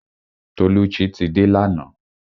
Tolucci ti dé lana